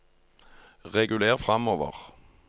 reguler framover